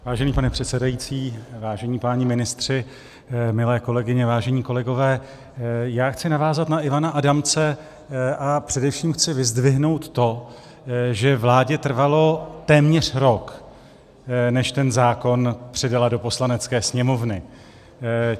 Vážený pane předsedající, vážení páni ministři, milé kolegyně, vážení kolegové, já chci navázat na Ivana Adamce a především chci vyzdvihnout to, že vládě trvalo téměř rok, než ten zákon předala do Poslanecké sněmovny.